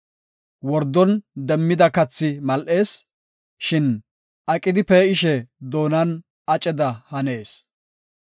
Wordon demmida kathi mal7ees; shin aqidi pee7ishe doonan aceda hanees.